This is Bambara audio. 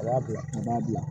A b'a bila a b'a bila